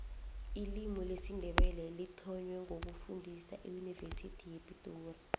ilimi lesindebele lithonwe ngo ukufundiswa eyuniversity yepitori